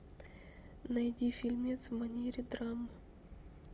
найди фильмец в манере драма